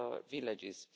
villages